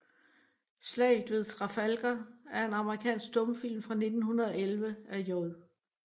Slaget ved Trafalgar er en amerikansk stumfilm fra 1911 af J